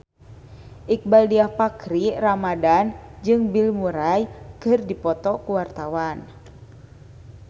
Iqbaal Dhiafakhri Ramadhan jeung Bill Murray keur dipoto ku wartawan